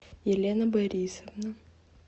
елена борисовна